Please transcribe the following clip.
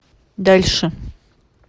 дальше